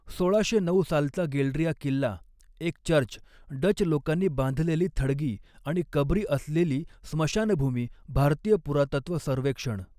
सोळाशे नऊ सालचा गेल्ड्रिया किल्ला, एक चर्च, डच लोकांनी बांधलेली थडगी आणि कबरी असलेली स्मशानभूमी भारतीय पुरातत्व सर्वेक्षण